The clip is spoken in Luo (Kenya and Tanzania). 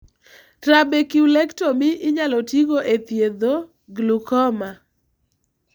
Trabeculectomy inyalo tigo e thiedho glaucoma.